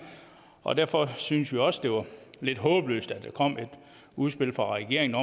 og derfor synes vi også det var lidt håbløst at der kom et udspil fra regeringen